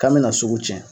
K'an bɛna sugu cɛn